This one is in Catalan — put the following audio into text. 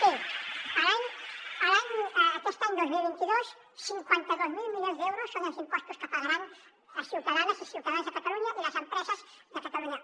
escolti aquest any dos mil vint dos cinquanta dos mil milions d’euros són els impostos que pagaran les ciutadanes i ciutadans de catalunya i les empreses de catalunya